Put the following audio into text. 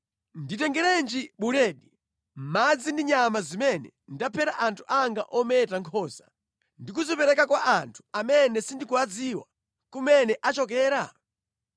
Nditengerenji buledi, madzi ndi nyama zimene ndaphera anthu anga ometa nkhosa ndi kuzipereka kwa anthu amene sindikudziwa kumene achokera?”